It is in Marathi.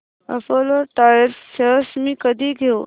अपोलो टायर्स शेअर्स मी कधी घेऊ